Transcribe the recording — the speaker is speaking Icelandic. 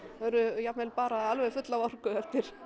jafnvel alveg full af orku